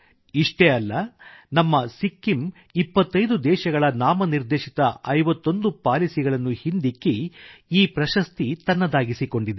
ಇಷ್ಟೇ ಅಲ್ಲ ನಮ್ಮ ಸಿಕ್ಕಿಮ್ ಇಪ್ಪತ್ತೈದು ದೇಶಗಳ ನಾಮನಿರ್ದೇಶಿತ ಐವತ್ತೊಂದು ಪಾಲಿಸಿಗಳನ್ನು ಹಿಂದಿಕ್ಕಿ ಈ ಪ್ರಶಸ್ತಿ ತನ್ನದಾಗಿಸಿಕೊಂಡಿದೆ